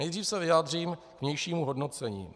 Nejdřív se vyjádřím k vnějšímu hodnocení.